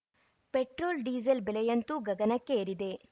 petrol diesel ಬೆಲೆಯಂತೂ ಗಗನಕ್ಕೆ ಏರಿದೆ